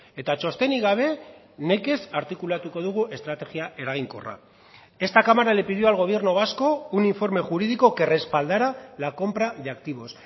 eta txostenik gabe nekez artikulatuko dugu estrategia eraginkorra esta cámara le pidió al gobierno vasco un informe jurídico que respaldara la compra de activos